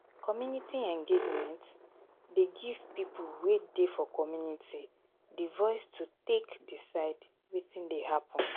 Community engagement dey give pipo wey dey for community di voice to take decide wetin dey happen